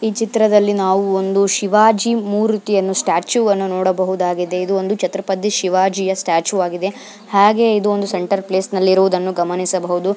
ಈ ಚಿತ್ರದಲ್ಲಿ ನಾವು ಒಂದು ಶಿವಾಜಿ ಮೂರುತಿಯನ್ನು ಸ್ಟಾಚು ವನ್ನು ನೋಡಬಹುದಾಗಿದೆ ಇದು ಒಂದು ಚತುರ್ಪತಿ ಶಿವಾಜಿಯ ಸ್ಟಾಚು ಆಗಿದೆ ಆಗೆ ಇದು ಒಂದು ಸೆಂಟರ್ ಪ್ಲೇಸ್ನ ನಲ್ಲಿ ಇರುವುದನ್ನು ಗಮನಿಸಬಹುದು.